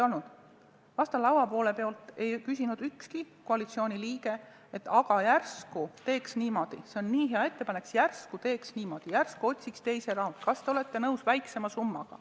Laua teiselt poolt ei küsinud ükski koalitsiooni liige, et see on nii hea ettepanek, et järsku teeks niimoodi, järsku otsiks teise võimaluse, kas te olete nõus väiksema summaga.